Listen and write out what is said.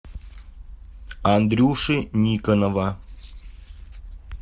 андрюши никонова